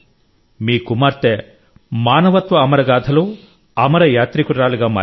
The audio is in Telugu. మీ కుమార్తె మానవత్వ అమర గాథలో అమర యాత్రికురాలిగా మారింది